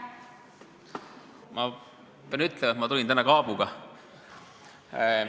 Ma pean ütlema, et ma tulin täna siia kaabuga.